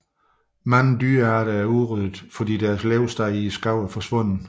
Mange dyrearter er udryddet fordi deres levested i skoven er forsvundet